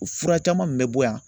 O fura caman min bɛ bɔ yan